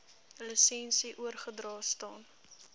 lisensie oorgedra staan